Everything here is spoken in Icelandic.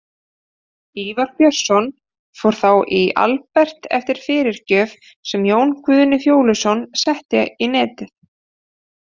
Ívar Björnsson fór þá í Albert eftir fyrirgjöf, sem Jón Guðni Fjóluson setti í netið.